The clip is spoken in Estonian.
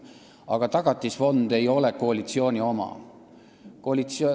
Aga Tagatisfond ei ole koalitsiooni oma.